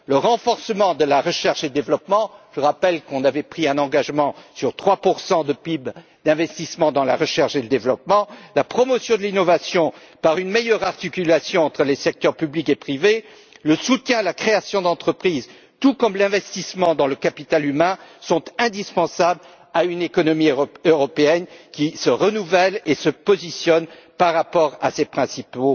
Le renforcement de la recherche et du développement je rappelle que nous avions pris l'engagement d'investir 3 de PIB dans la recherche et le développement la promotion de l'innovation par une meilleure articulation entre les secteurs public et privé, le soutien à la création d'entreprises, tout comme l'investissement dans le capital humain sont indispensables à une économie européenne qui se renouvelle et se positionne par rapport à ses principaux